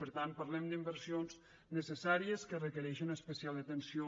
per tant parlem d’inversions necessàries que requereixen especial atenció